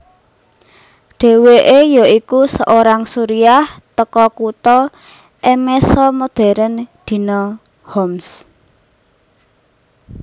Deweke yoiku seorang Suriah teko kuto Emesa modern dino Homs